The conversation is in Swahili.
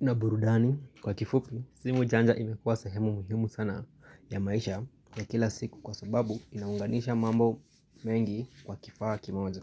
na burudani kwa kifupi. Simu janja imekuwa sehemu muhimu sana ya maisha ya kila siku kwa sababu inaunganisha mambo mengi kwa kifaa kimoja.